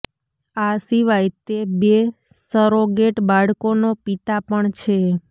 આ સિવાય તે બે સરોગેટ બાળકોનો પિતા પણ છે